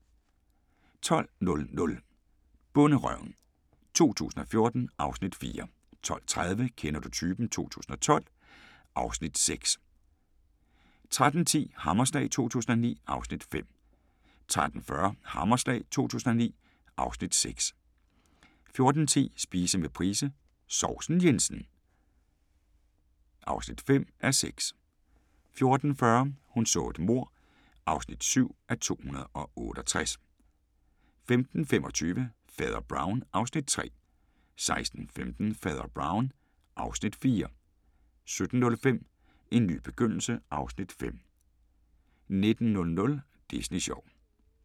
12:00: Bonderøven 2014 (Afs. 4) 12:30: Kender du typen? 2012 (Afs. 6) 13:10: Hammerslag 2009 (Afs. 5) 13:40: Hammerslag 2009 (Afs. 6) 14:10: Spise med Price - sovsen Jensen (5:6) 14:40: Hun så et mord (7:268) 15:25: Fader Brown (Afs. 3) 16:15: Fader Brown (Afs. 4) 17:05: En ny begyndelse (Afs. 5) 19:00: Disney sjov